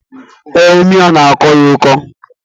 Ee imi ya n'akọ ya ọkọ